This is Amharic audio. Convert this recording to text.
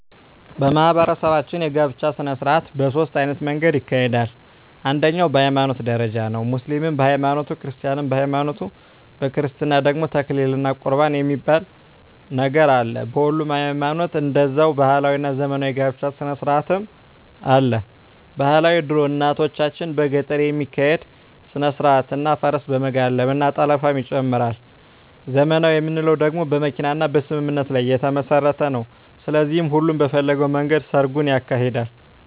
በማህበረሰባችን የጋብቻ ሰነስርአት በ ሶስት አይነት መንገድ ይካሄዳል አንደኛዉ በ ሀይማኖት ደረጃ ነዉ ሙስሊምም በ ሀይማኖቱ ክርስቲያንም በሀይማኖቱ በክርስትና ደግሞ ተክሊል እና ቁርባን የሚባል ነገር አለ በሁሉም ሀይማኖት ደዛዉ ባህላዊ እና ዘመናዊ የ ጋብቻ ስነስርአትም አለ ...ባህላዊ ድሮ እናቶቻችን በገጠር የሚካሄድ ስነስርአት እና ፈረስ በመጋለብ እና ጠለፍንም ይጨምራል .........ዘመናዊ የምንለዉ ደግሞ በመኪና እና በስምምነት ላይ የተመስረተ ነዉ ስለዚህ ሁሉም በፈለገዉ መንገድ ሰርጉን ያካሂዳል።